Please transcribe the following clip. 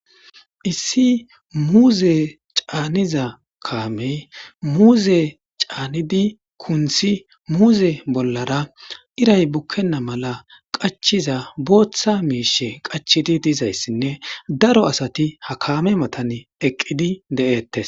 Hssi muuze caaniza kaamey muuze caanidi kunthi muuze bollara iray bukkenna mala qachiza booththa miishe qachidi dizayssinne daro asati ha kaame matan eqqidi de7eettes.